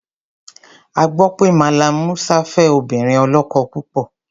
A gbọ́ pé Mallam Musa fẹ́ obìnrin ọlọ́kọ púpọ̀.